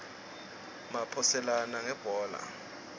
maphoselana ngebhola